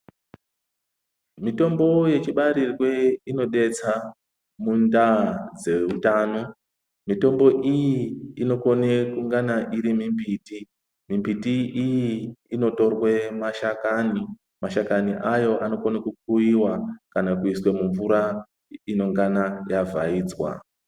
Mitombo yechibarirwe inodetsa mundaa dzeutano. MItambo iyi inokone kungana iri mimbiti. Mimbiti iyi inotorwe mashakani. Mashakani ayo anokone kukuyiwa kana kuiswe mumvura inongana yavhaidzwa.